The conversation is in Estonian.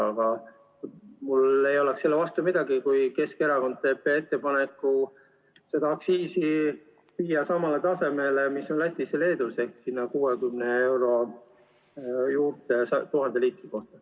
Aga mul ei oleks midagi selle vastu, kui Keskerakond teeb ettepaneku viia see aktsiis samale tasemele, mis on Lätis ja Leedus, ehk siis umbes 60 eurot 1000 liitri kohta.